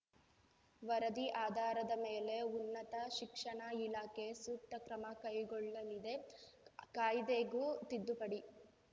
ವರದಿ ಆಧಾರದ ಮೇಲೆ ಉನ್ನತ ಶಿಕ್ಷಣ ಇಲಾಖೆ ಸೂಕ್ತ ಕ್ರಮ ಕೈಗೊಳ್ಳಲಿದೆ ಕಾಯ್ದೆಗೂ ತಿದ್ದುಪಡಿ